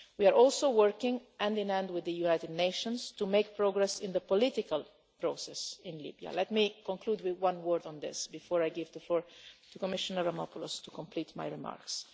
it. We are also working hand in hand with the United Nations to make progress in the political process in Libya. Let me conclude with a word on this before I give the floor to Commissioner Avramopoulos to complete my remarks.